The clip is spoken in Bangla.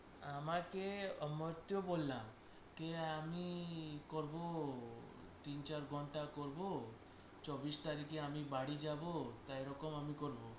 আমাকে বললাম কি আমি করবো তিন চার ঘন্টার করবো চব্বিশ তারিখে আমি বাড়ি যাবো, তা এরকম আমি করবো